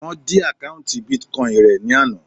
Wọ́n dí àkọ́ùntì Bitcoin rẹ̀ ní àná.